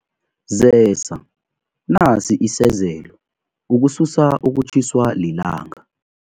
Zesa nasi isezelo ukususa ukutjhiswa lilanga.